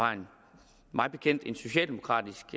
mig bekendt en socialdemokratisk